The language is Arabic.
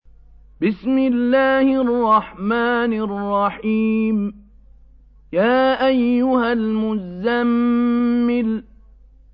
يَا أَيُّهَا الْمُزَّمِّلُ